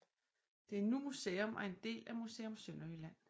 Det er nu museum og en del af Museum Sønderjylland